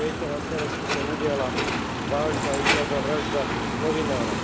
Ako viete, na Slovensku sa udiala vážna úkladná vražda novinára.